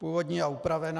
Původní a upravená.